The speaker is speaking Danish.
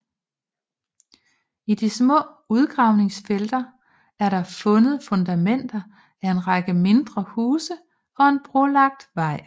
I de små udgravningsfelter er der fundet fundamenter af en række mindre huse og en brolagt vej